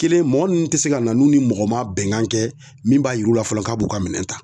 Kelen mɔgɔ nunnu tɛ se ka na n'u ni mɔgɔ ma bɛnkan kɛ min b'a yir'u la fɔlɔ k'a b'u ka minɛn ta.